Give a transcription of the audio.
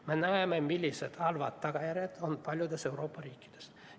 Me näeme, millised halvad tagajärjed on paljudes Euroopa riikides.